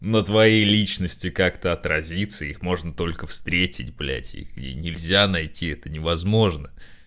на твоей личности как-то отразиться их можно только встретить блядь их нельзя найти это невозможно